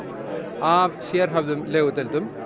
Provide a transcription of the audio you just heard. af sérhæfðum legudeildum